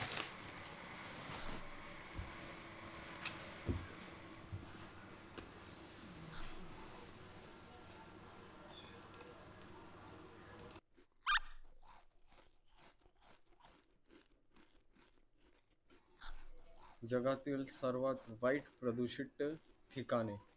जगातील सर्वात वाईट प्रदुषितल ठिकाणे